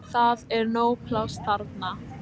Það er nóg pláss þar.